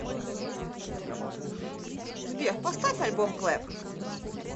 сбер поставь альбом клэп